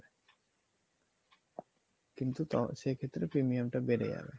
কিন্তু সেক্ষেত্রে premium টা বেড়ে যাবে।